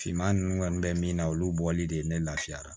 Finman ninnu kɔni bɛ min na olu bɔli de ye ne lafiya